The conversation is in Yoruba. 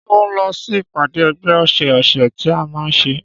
Ṣé o ń lọ sí ìpàdé ẹgbẹ́ ọsẹ ọsẹ tí a man nṣe?